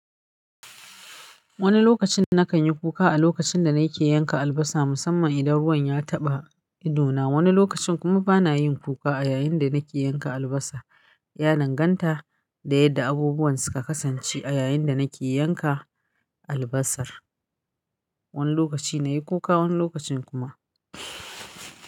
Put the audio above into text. Wani lokacin na kan yi kuka a lokacin da na ke yanka albasa musamman idan ruwan ya taɓa ido na, Wani lokacin kuma bana yin kuka a yayin da na ke yanka albasa. Ya danganta da yadda abubuwan suka kasance a yayin da na ke yanka albasar. Wani lokaci na yi kuka, wani lokacin kuma.